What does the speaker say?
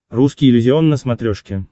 русский иллюзион на смотрешке